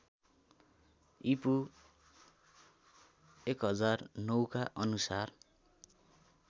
ईपू १००९ का अनुसार